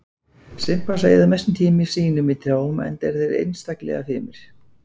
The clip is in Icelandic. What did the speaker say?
Simpansar eyða mestum tíma sínum í trjám enda eru þeir einstaklega fimir.